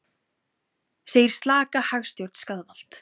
Segir slaka hagstjórn skaðvald